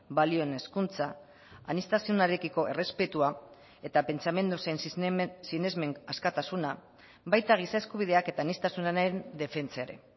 balioen hezkuntza aniztasunarekiko errespetua eta pentsamendu zein sinesmen askatasuna baita giza eskubideak eta aniztasunaren defentsa ere